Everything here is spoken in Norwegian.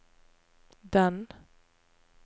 den